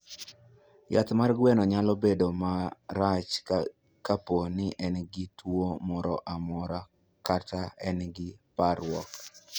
Yath mar gweno nyalo bedo ma rachar kapo ni en gi tuwo moro kata ka en gi parruok.